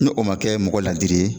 Ne o ma kɛ mɔgɔ ladiri ye.